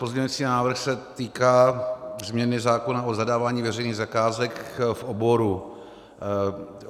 Pozměňující návrh se týká změny zákona o zadávání veřejných zakázek v oboru.